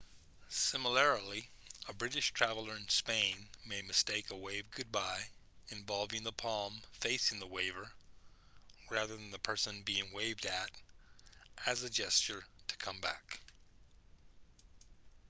similarly a british traveller in spain may mistake a wave goodbye involving the palm facing the waver rather than the person being waved at as a gesture to come back